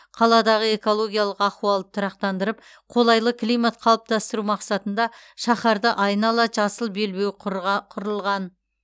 қаладағы экологиялық ахуалды тұрақтандырып қолайлы климат қалыптастыру мақсатында шаһарды айнала жасыл белбеу құрға құрылған